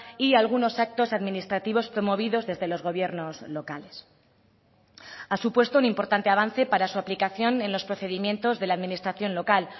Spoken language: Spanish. y algunos actos administrativos promovidos desde los gobiernos locales ha supuesto un importante avance para su aplicación en los procedimientos de la administración local